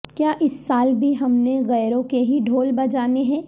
کیا اس سال بھی ہم نے غیروں کے ہی ڈھول بجانے ہیں